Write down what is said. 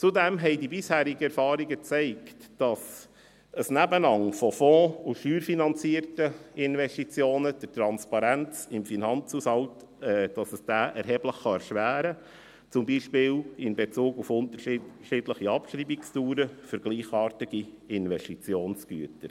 Zudem zeigten die bisherigen Erfahrungen, dass ein Nebeneinander von fonds- und steuerfinanzierten Investitionen die Transparenz im Finanzhaushalt erheblich erschweren kann, zum Beispiel in Bezug auf unterschiedliche Abschreibungsdauern für gleichartige Investitionsgüter.